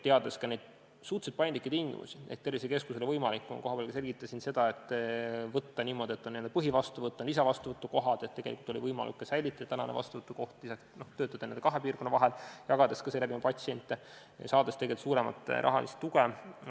Teades, et on suhteliselt paindlikud tingimused, mis tervisekeskustele seatud, selgitasin kohapeal seda, et kui võtta niimoodi, et on n-ö põhivastuvõtt ja lisavastuvõtukohad, siis on võimalik säilitada ka praegune vastuvõtukoht, töötada n-ö kahe piirkonna vahel, jagades patsiente ja saades suuremat rahalist tuge.